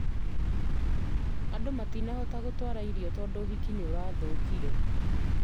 Andũ matinahota gũtwara irio tondũ itiki nĩrĩrathũkire